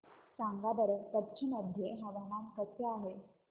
सांगा बरं कच्छ मध्ये हवामान कसे आहे